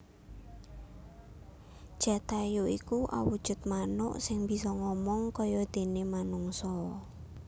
Jatayu iku awujud manuk sing bisa ngomong kayadene manungsa